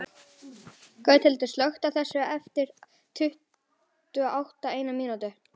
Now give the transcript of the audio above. Gauthildur, slökktu á þessu eftir áttatíu og eina mínútur.